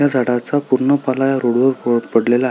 त्या झाडाचा पूर्ण पाला ह्या रोड वर लोळत पडलेला आहे.